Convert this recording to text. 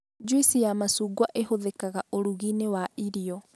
Njuici ya macungwa ĩhũthĩkaga ũrũgi-inĩ wa irio